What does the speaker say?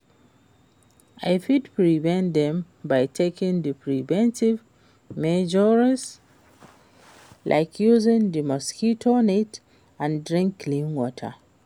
I fit prevent dem by taking di preventive measures, like using di mosquito nets and drink clean water.